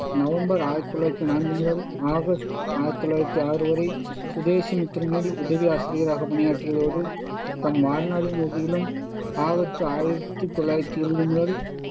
November ஆயிரத்தி தொள்ளாயிரத்தி நான்கு முதல் ஆகஸ்ட் ஆயிரத்தி தொள்ளாயிரத்தி ஆறு வரை சுதேசிமித்திரனில் உதவி ஆசிரியராகப் பணியாற்றியதோடு தம் வாழ்நாளின் இறுதியிலும் ஆகஸ்டு ஆயிரத்தி தொள்ளாயிரத்தி இருவது முதல்